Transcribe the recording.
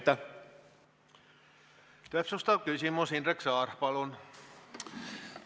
Täpsustav küsimus, Indrek Saar, palun!